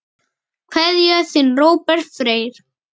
Kveðja, þinn Róbert Freyr.